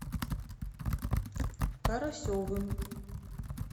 карасевым